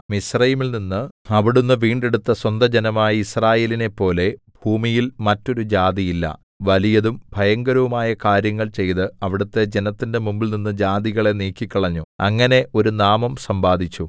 മിസ്രയീമിൽനിന്ന് അവിടുന്ന് വീണ്ടെടുത്ത സ്വന്ത ജനമായ യിസ്രായേലിനെപ്പോലെ ഭൂമിയിൽ മറ്റൊരു ജാതിയില്ല വലിയതും ഭയങ്കരവുമായ കാര്യങ്ങൾ ചെയ്ത് അവിടുത്തെ ജനത്തിന്റെ മുമ്പിൽനിന്ന് ജാതികളെ നീക്കിക്കളഞ്ഞു അങ്ങനെ ഒരു നാമം സമ്പാദിച്ചു